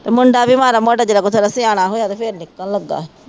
ਤੇ ਮੁੰਡਾ ਵੀ ਮਾੜਾ ਮੋਟਾ ਜਦੋਂ ਕਿ ਜਦੋਂ ਸਿਆਣਾ ਹੋਇਆ ਅਤੇ ਫੇਰ ਨਿਕਲਣ ਲੱਗਾ